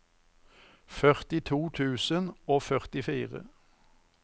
førtito tusen og førtifire